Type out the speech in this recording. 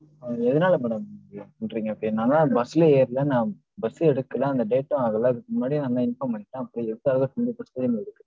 ஆஹ் எதனால madam இப்படி பண்றீங்க இப்படி. நான் தான் அந்த bus ல ஏர்ல. நான் bus ஊ எடுக்கல, அந்த date ஊம் ஆகல. அதுக்கு முன்னாடியே நாந்தான் inform பண்ணிட்டேன். அப்பறம் எதுக்காக